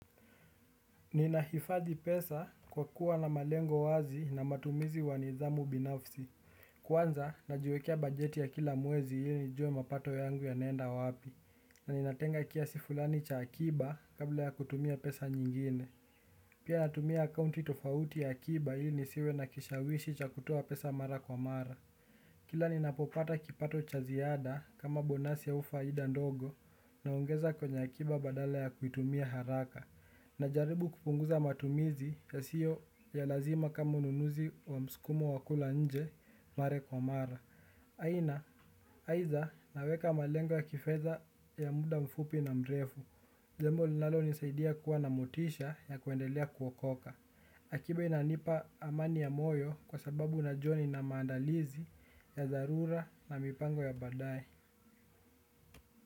Ninahifadhi pesa kwa kuwa na malengo wazi na matumizi wa nidhamu binafsi. Kwanza najiwekea bajeti ya kila mwezi ili nijue mapato yangu yanenda wapi ninatenga kiasi fulani cha akiba kabla ya kutumia pesa nyingine. Pia natumia akounti tofauti ya akiba ili nisiwe na kishawishi cha kutoa pesa mara kwa mara kila ninapopata kipato cha ziada kama bonasi au faida ndogo. Naongeza kwenye akiba badala ya kuitumia haraka. Najaribu kupunguza matumizi yasiyo ya lazima kama ununuzi wa mskumo wa kula nje mare kwa mara. Aina, aidha naweka malengo kifedha ya muda mfupi na mrefu jambo linalo nisaidia kuwa na motisha ya kuendelea kuokoka. Akiba inanipa amani ya moyo kwa sababu najua nina maandalizi ya dharura na mipango ya baadae.